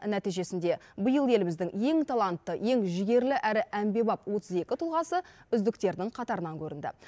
нәтижесінде биыл еліміздің ең талантты ең жігерлі әрі әмбебап отыз екі тұлғасы үздіктердің қатарынан көрінді